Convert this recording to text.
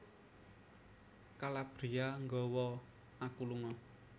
Calabria nggawa aku lunga